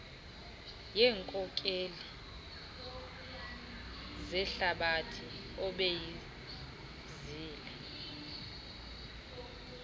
yeenkokeli zehlabathi obeyibizile